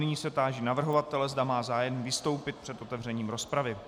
Nyní se táži navrhovatele, zda má zájem vystoupit před otevřením rozpravy.